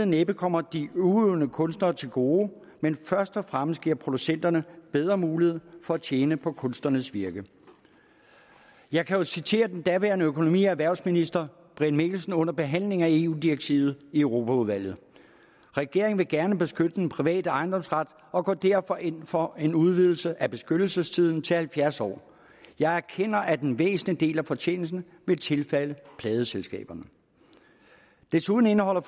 næppe kommer de udøvende kunstnere til gode men først og fremmest giver producenterne bedre mulighed for at tjene på kunstnernes virke jeg kan jo citere den daværende økonomi og erhvervsminister brian mikkelsen under behandlingen af eu direktivet i europaudvalget regeringen vil gerne beskytte den private ejendomsret og går derfor ind for en udvidelse af beskyttelsestiden til halvfjerds år jeg erkender at en væsentlig del af fortjenesten vil tilfalde pladeselskaberne desuden indeholder